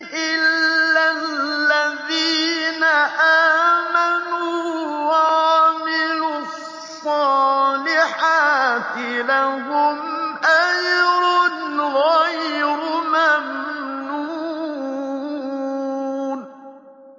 إِلَّا الَّذِينَ آمَنُوا وَعَمِلُوا الصَّالِحَاتِ لَهُمْ أَجْرٌ غَيْرُ مَمْنُونٍ